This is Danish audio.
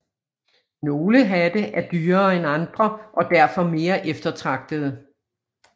Nogle hatte er dyrere end andre og derfor mere eftertragtede